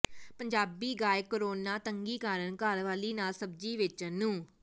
ਪੰਜਾਬੀ ਗਾਇਕ ਕਰੋਨਾ ਤੰਗੀ ਕਾਰਨ ਘਰਵਾਲੀ ਨਾਲ ਸਬਜੀ ਵੇਚਣ ਨੂੰ